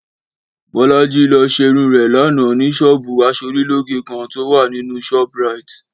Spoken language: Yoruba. Bọ́lájí lọ ṣerun rẹ̀ lánàá ní ṣọ́ọ̀bù aṣorílóge kan tó wà nínú Shoprite